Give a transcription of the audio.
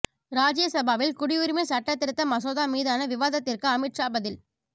ராஜ்யசபாவில் குடியுரிமை சட்ட திருத்த மசோதா மீதான விவாதத்திற்கு அமித் ஷா பதில்